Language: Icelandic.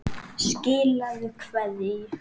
Skilaðu kveðju!